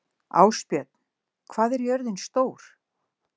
Ásbjörn, hvað er jörðin stór?